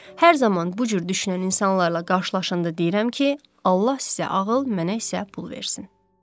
Hər zaman bu cür düşünən insanlarla qarşılaşanda deyirəm ki, Allah sizə ağıl, mənə isə pul versin.